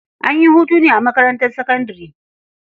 An yi hutu ne a makarntar sakandare?